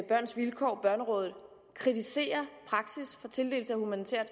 børns vilkår børnerådet kritiserer praksis for tildeling af humanitært